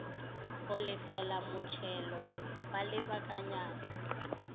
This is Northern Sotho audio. go lefela motšhelo wa lebakanyana